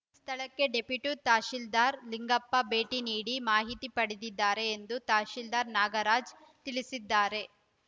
ಸ್ಥಳಕ್ಕೆ ಡೆಪ್ಯೊಟಿ ತಹಶೀಲ್ದಾರ್‌ ಲಿಂಗಪ್ಪ ಭೇಟಿ ನೀಡಿ ಮಾಹಿತಿ ಪಡೆದಿದ್ದಾರೆ ಎಂದು ತಹಶೀಲ್ದಾರ್‌ ನಾಗರಾಜ್‌ ತಿಳಿಸಿದ್ದಾರೆ